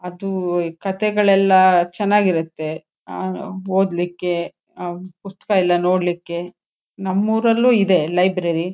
ಅದೂ ಈ ಕತೆಗಳೆಲ್ಲ ಚೆನ್ನಾಗ್ ಇರತ್ತೆ ಆಹ್ಹ್ ಓದ್ಲಿಕ್ಕೆ ಅಹ್ ಪುಸಕ್ತ ಎಲ್ಲ ನೋಡ್ಲಿಕ್ಕೆ ನಮ್ ಊರಲ್ಲೂ ಇದೆ ಲೈಬ್ರರಿ .